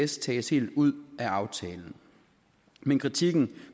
tages helt ud af aftalen men kritikken